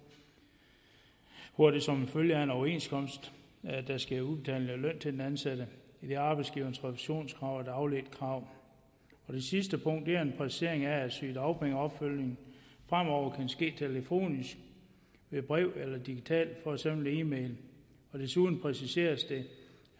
hvor der som følge af en overenskomst sker udbetaling af løn til den ansatte idet arbejdsgiverens refusionskrav er et afledt krav det sidste punkt er en præcisering af at sygedagpengeopfølgning fremover kan ske telefonisk ved brev eller digitalt for eksempel e mail desuden præciseres det